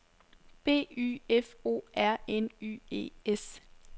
B Y F O R N Y E S